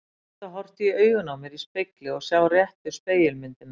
Að geta horft í augun á mér í spegli og sjá réttu spegilmyndina.